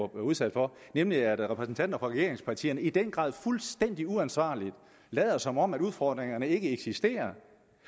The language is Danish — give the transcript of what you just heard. blev udsat for nemlig at repræsentanter for regeringspartierne i den grad fuldstændig uansvarligt lader som om udfordringerne ikke eksisterer